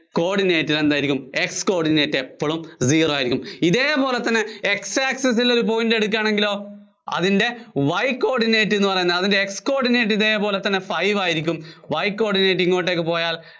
coordinate എന്തായിരിക്കും? X coordinate എപ്പോഴും zero ആയിരിയ്ക്കും. ഇതേപോലെതന്നെ X access ല്‍ ഒരു point എടുക്കുവാണെങ്കിലോ അതിന്‍റെ Y coordinate എന്നുപറയുന്നത് അതിന്‍റെ X coordinate ഇതേപോലെ തന്നെ five ആയിരിയ്ക്കും Y coordinate ഇങ്ങോട്ടേക്ക് പോയാല്‍